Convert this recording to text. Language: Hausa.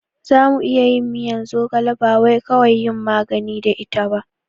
Zamu iya yin miyan zogala bawai kawai yin magani da ita ba